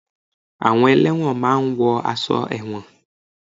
Àwọn ẹlẹ́won máa ń wọ aṣọ ẹlẹ́won